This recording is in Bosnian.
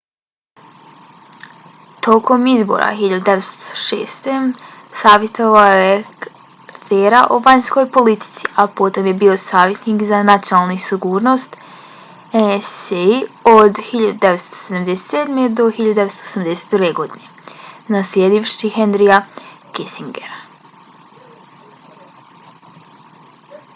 tokom izbora 1976. savjetovao je cartera o vanjskoj politici a potom je bio savjetnik za nacionalnu sigurnost nsa od 1977. do 1981. godine naslijedivši henryja kissingera